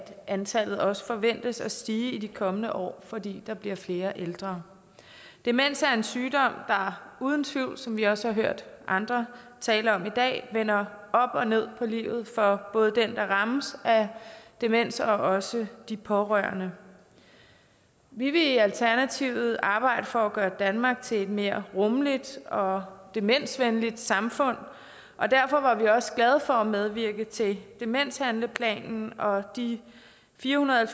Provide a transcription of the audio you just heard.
antallet også forventes at stige i de kommende år fordi der bliver flere ældre demens er en sygdom der uden tvivl som vi også har hørt andre tale om i dag vender op og ned på livet for både den der rammes af demens og også de pårørende vi vil i alternativet arbejde for at gøre danmark til et mere rummeligt og demensvenligt samfund og derfor var vi også glade for at medvirke til demenshandleplanen og de fire hundrede og